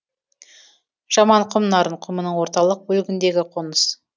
жаманқұм нарын құмының орталық бөлігіндегі қоныс